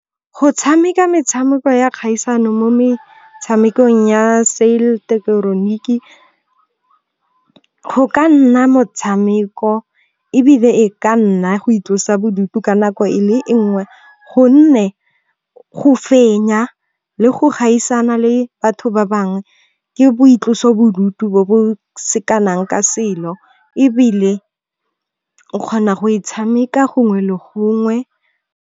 Go tshameka metshameko ya kgaisano mo metshamekong ya . Go ka nna motshameko ebile e ka nna go itlosa bodutu ka nako e le e nngwe. Gonne go fenya le go gaisana le batho ba bangwe ke boitlosobodutu bo bo sekanang ka selo. Ebile o kgona go e tshameka gongwe le gongwe.